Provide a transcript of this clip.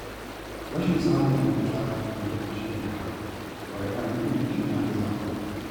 Rashin samun mafita a lokaci guda ba yana nufin mutum ya gaza ba.